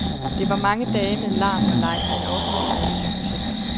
Det var mange dage med larm og leg, men også med seriøse projekter.